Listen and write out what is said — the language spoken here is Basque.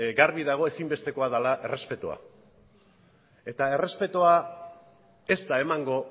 garbi dago ezin bestekoa dela errespetua eta errespetua ez da emango